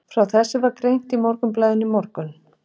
Frá þessu var greint í Morgunblaðinu í morgun.